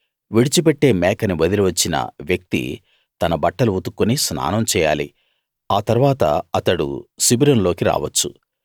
విడిచిపెట్టే మేకని వదిలి వచ్చిన వ్యక్తి తన బట్టలు ఉతుక్కుని స్నానం చేయాలి ఆ తరువాత అతడు శిబిరంలోకి రావచ్చు